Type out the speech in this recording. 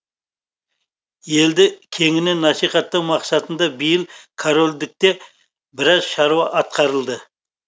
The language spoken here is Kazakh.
елді кеңінен насихаттау мақсатында биыл корольдікте біраз шаруа атқарылды